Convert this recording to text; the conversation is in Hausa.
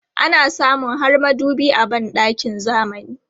Ana samun har madubi a ban ɗakin zamani.